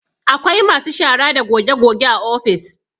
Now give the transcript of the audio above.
Akwai masu shara da goge goge a ofis